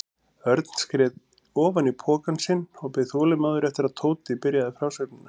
Örn skreið ofan í pokann sinn og beið þolinmóður eftir að Tóti byrjaði frásögnina.